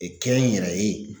E kɛ n yɛrɛ ye